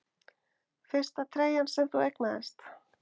Fyrsta treyjan sem þú eignaðist?